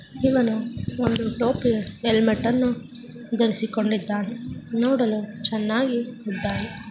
ಇವನು ಒಂದು ಟೋಪಿಯ ಹೆಲ್ಮೆಟನ್ನು ಧರಿಸಿಕೊಂಡಿದ್ದಾನೆ ನೋಡಲು ತುಂಬಾ ಚೆನಾಗಿದ್ದಾನೆ .